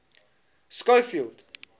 schofield